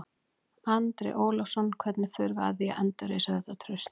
Andri Ólafsson: Hvernig förum við að því að endurreisa þetta traust?